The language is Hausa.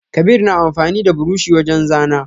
Kabir na amfani da buroshi wajen zana.